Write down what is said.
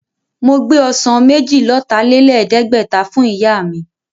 Mo gbé ọsàn méjì-lọ́tà-lẹ̀ẹ́dẹ́gbẹ̀ta fún Ìyá mi